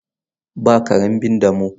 Ba karen bin damo.